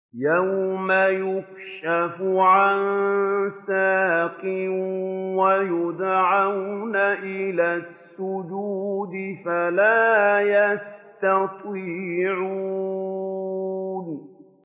يَوْمَ يُكْشَفُ عَن سَاقٍ وَيُدْعَوْنَ إِلَى السُّجُودِ فَلَا يَسْتَطِيعُونَ